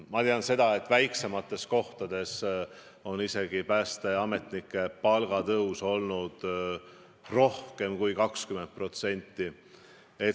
Ma tean seda, et väiksemates kohtades on päästeametnike palga tõus olnud isegi rohkem kui 20%.